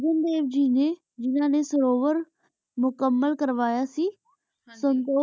ਫਿਰ ਘੁਰੁ ਅਜਰ ਦੇ ਜੀ ਨੀ ਜਿਨਾ ਨੀ ਸੁਰੁਵੇਰ ਮੁਕਾਮਿਲ ਕਰਵਾਯਾ ਸੇ ਆਚਾ ਸਨ੍ਦੁਘ ਸਿਰ